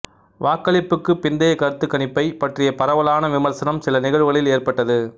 வாக்களிப்புக்குப் பிந்தைய கருத்துக்கணிப்பைப் பற்றிய பரவலான விமர்சனம் சில நிகழ்வுகளில் ஏற்பட்டது